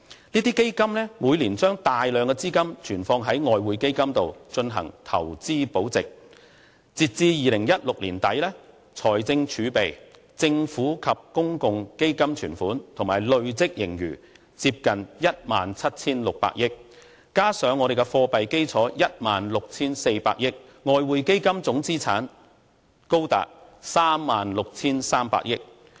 這些基金每年把大量資金存放於外匯基金進行投資保值，截至2016年年底，財政儲備、政府或公共基金存款及累計盈餘接近 17,600 億元，加上我們的貨幣基礎 16,400 億元，外匯基金總資產高達 36,300 億元。